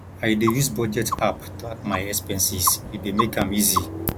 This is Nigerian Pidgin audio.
i dey use budget app track my expenses e dey make am easy